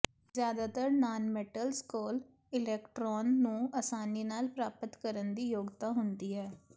ਜ਼ਿਆਦਾਤਰ ਨਾਨਮੈਟਲਜ਼ ਕੋਲ ਇਲੈਕਟ੍ਰੋਨ ਨੂੰ ਆਸਾਨੀ ਨਾਲ ਪ੍ਰਾਪਤ ਕਰਨ ਦੀ ਯੋਗਤਾ ਹੁੰਦੀ ਹੈ